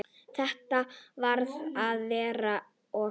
Þetta varð verra og verra.